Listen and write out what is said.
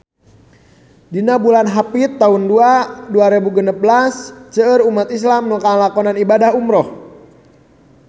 Dina bulan Hapit taun dua rebu genep belas seueur umat islam nu ngalakonan ibadah umrah